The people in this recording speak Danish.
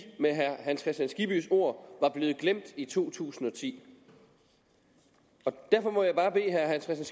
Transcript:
med herre hans kristian skibbys ord var blevet glemt i to tusind og ti derfor må jeg bare bede herre hans